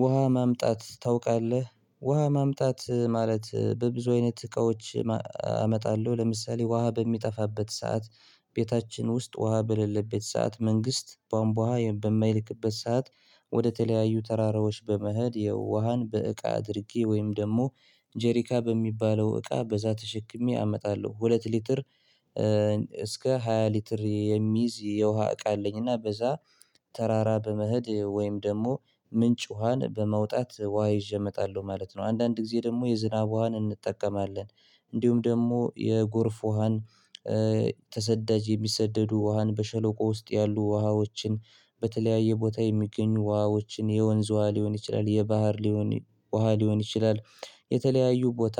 ውሃ ማምጣት ታውቃለህ ውሃ ማምጣት ማለት በብዙ አይነት እቃዎች ማም አመጣለሁ ለምሳሌ ውሃ በሚጠፋበት ሰዓት ቤታችን ውስጥ ውሃ በሌለበት ሰዓት መንግስት ቧንቧ ዉሃ ሰዓት በማይለቅበት ሰዓት ወደተለያዩ ተራራዎች በመሄድ የውሃን በእቃ አድርጌ ወይም ደግሞ ጀሪካ በሚባለው እቃ በዛ ተሸክሜ አመጣለሁ ሁለት ሊትር እስከ ሃያ ሊትር የሚይዝ የውሃ እቃ አለኝና በዛ ተራራ በመሄድ ወይም ደግሞ ምንጭ ውሃን በማውጣት ውሃ ይዤ እመጣለሁ ማለት ነው። አንዳንድ ጊዜ ደግሞ የዝናብ ውሃን እንጠቀማለን። እንዲሁም ደግሞ የጎርፍ ውሃን ተሰዳጅ የሚሰደዱ ውሃን በሸለቆ ውስጥ ያሉ ውሃዎችን በተለያየ ቦታ የሚገኙ ውሃዎችን የወንዝ ውሃ ሊሆን ይችላል የባህር ሊሆን ውሃ ሊሆን ይችላል። የተለያዩ ቦታ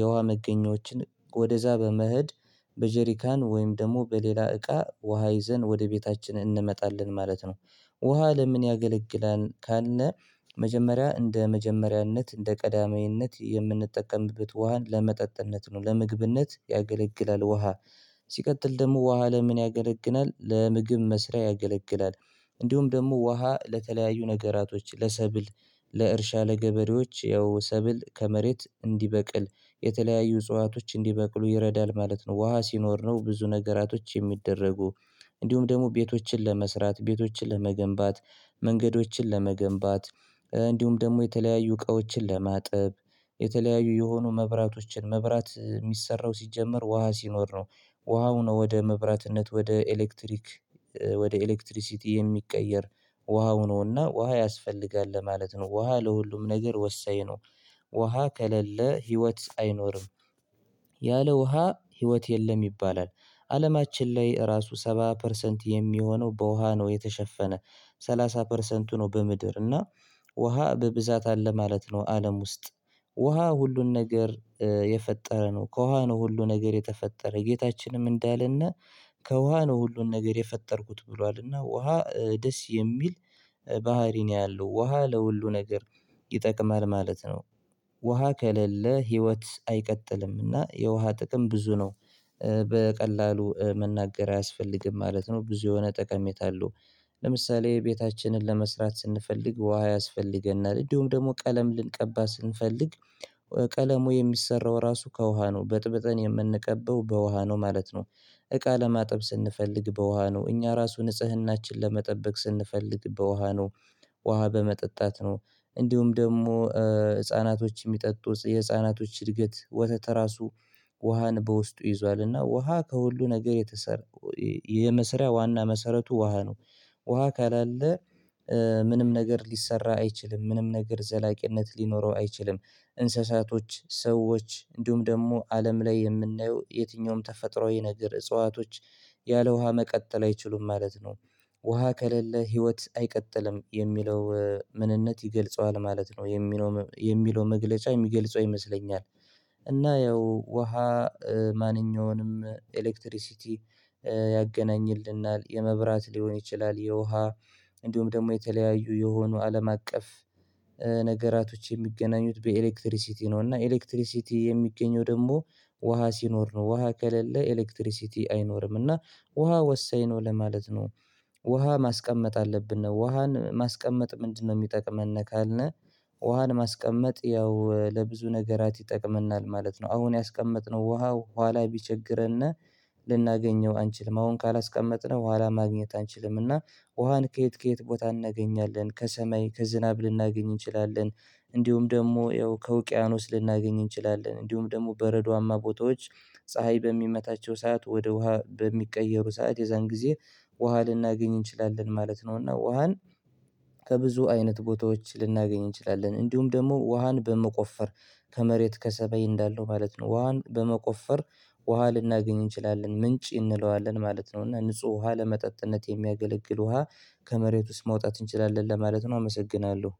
የውሃ መገኛዎችን ወደዛ በመህድ በጀሪካን ወይም ደግሞ በሌላ እቃ ውሃ ይዘን ወደ ቤታችን እንመጣለን ማለት ነው። ውሃ ለምን ያገለግላል? ካለነ መጀመሪያ እንደ መጀመሪያነት እንደ ቀዳማዊነት የምንጠቀምበት ውሃን ለመጠጥነት ነው ለምግብነት ያገለግላል ውሃ። ሲቀጥል ደግሞ ውሃ ለምን ያገለግናል ለምግብ መስሪያ ያገለግላል። እንዲሁም ደግሞ ውሃ ለተለያዩ ነገራቶች ለሰብል ለእርሻ ለገበሬዎች ያው ሰብል ከመሬት እንዲበቅል የተለያዩ እጽዋቶች እንዲበቅሉ ይረዳል ማለት ነው። ውሃ ሲኖር ነው ብዙ ነገራቶች የሚደረጉ። እንዲሁም ደግሞ ቤቶችን ለመስራት ቤቶችን ለመገንባት መንገዶችን ለመገንባት እንዲሁም ደግሞ የተለያዩ እቃዎችን ለማጥብ የተለያዩ የሆኑ መብራቶችን መብራት የሚሰራው ሲጀመር ውሃ ሲኖር ነው። ውሃው ነው ወደ መብራትነት ወደ ኤሌክትሪክ ወደ ኤሌክትሪሲቲ የሚቀየር ውሃ ሆኖና ውሃ ያስፈልጋል ለማለት ነው። ውሃ ለሁሉም ነገር ወሳኝ ነው። ውሃ ከሌለ ህይወት አይኖርም። ያለ ውሃ ህይወት የለም ይባላል። አለማችን ላይ እራሱ ሰባ ፐርሰንት የሚሆነው በውሃ ነው የተሸፈነ። ሰላሳ ፐርሰንቱ ነው በምድር እና ውሃ በብዛት አለ ማለት ነው። አለም ውስጥ ውሃ ሁሉን ነገር የፈጠረ ነው። ከውሃ ነው ሁሉ ነገር የተፈጠረ ጌታችንም እንዳለነ ከውሃ ነው ሁሉን ነገር የፈጠርኩት ብሏልና። ውሃ ደስ የሚል ባህሪ ነው ያለው። ውሃ ለሁሉ ነገር ይጠቅማል ማለት ነው። ውሃ ከሌለ ህይወት አይቀጥልምና የውሃ ጥቅም ብዙ ነው። በቀላሉ መናገር አያስፈልግም ማለት ነው። ብዙ የሆነ ጠቀሜታ አለው። ለምሳሌ ቤታችንን ለመስራት ስንፈልግ ውሃ ያስፈልገናል እንደውም ደግሞ ቀለም ልንቀባ ስንፈልግ። ቀለሙ የሚሰራው ራሱ ከውሃ ነው በጥበጥን የምንቀበው በውሃ ነው ማለት ነው። እቃ ለማጥብ ስንፈልግ በውሃ ነው እኛ ራሱ ንጽህናችን ለመጠበቅ ስንፈልግ በውሃ ነው። ውሃ በመጠጣት ነው። እንዲሁም ደግሞ ህፃናቶች የሚጠጡ የህፃናቶች እድገት ወተተ ራሱ ውሃን በውስጡ ይዟልና ውሃ ከሁሉ ነገር የተሰራ የመሰሪያ ዋና መሰረቱ ውሃ ነው። ውሃ ካላለ ምንም ነገር ሊሰራ አይችልም ምንም ነገር ዘላቂነት ሊኖረው አይችልም። እንስሳቶች ሰዎች እንዲሁም ደግሞ አለም ላይ የምናየው የትኛውም ተፈጥሮ ይነግር እጽዋቶች ያለ ውሃ መቀጠል አይችሉም ማለት ነው። ውሃ ከሌለ ህይወት አይቀጥልም የሚለው ምንነት ይገልጸዋል ማለት ነው የሚለው የሚለው መግለጫ የሚገልጸው ይመስለኛል። እና ያው ውሃ ማንኛውንም ኤሌክትሪሲቲ ያገናኝልናል የመብራት ሊሆን ይችላል የውሃ እንዲሁም ደግሞ የተለያዩ የሆኑ አለም አቀፍ ነገራቶች የሚገናኙት በኤሌክትሪሲቲ ነው። እና ኤሌክትሪሲቲ የሚገኘው ደግሞ ውሃ ሲኖር ነው ውሃ ከሌለ ኤሌክትሪሲቲ አይኖርም እና ውሃ ወሳኝ ነው ለማለት ነው። ውሃ ማስቀመጥ አለብን ነው ውሃን ማስቀመጥ ምንድነው? የሚጠቅመን ነው ካልነህ ውሃን ማስቀመጥ ያው ለብዙ ነገራት ይጠቅመናል ማለት ነው። አሁን ያስቀመጥነው ውሃ ኋላ ቢቸግረነ ልናገኘው አንችልም አሁን ካላስቀመጥነው ኋላ ማግኘት አንችልምና። ውሃን ከየት ከየት ቦታ እናገኛለን ከሰማይ ከዝናብ ልናገኝ እንችላለን። እንዲሁም ደግሞ ያው ከውቅያኖስ ልናገኝ እንችላለን እንዲሁም ደግሞ በረዶማ ቦታዎች ፀሀይ በሚመታቸው ሰዓት ወደ ውሃ በሚቀየሩ ሰዓት የዛን ጊዜ ውሃ ልናገኝ እንችላለን ማለት ነው። እና ውሃን ከብዙ አይነት ቦታዎች ልናገኝ እንችላለን። እንዲሁም ደግሞ ውሃን በመቆፈር ከመሬት ከሰማይ እንዳለው ማለት ነው። ውሃን በመቆፈር ውሃ ልናገኝ እንችላለን ምንጭ እንለዋለን ማለት ነው። እና ንጹህ ውሃ ለመጠጥነት የሚያገለግል ውሃ ከመሬት ውስጥ ማውጣት እንችላለን ለማለት ነው። አመሰግናለሁ